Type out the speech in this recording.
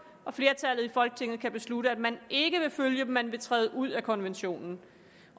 og flertallet i folketinget kan beslutte at man ikke vil følge dem at man vil træde ud af konventionen